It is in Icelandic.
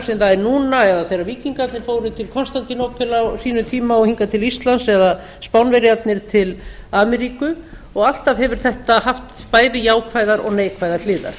það er núna eða þegar víkingarnir fóru til konstantínópel á sínum tíma og hingað til íslands eða spánverjarnir til ameríku og alltaf hefur þetta haft bæði jákvæðar og neikvæðar hliðar